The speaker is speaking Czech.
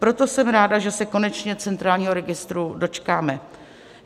Proto jsem ráda, že se konečně centrálního registru dočkáme.